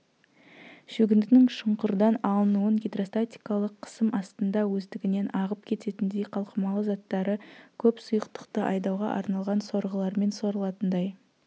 шөгіндінің шұңқырдан алынуын гидростатикалық қысым астында өздігінен ағып кететіндей қалқымалы заттары көп сұйықтықты айдауға арналған сорғыларымен сорылатындай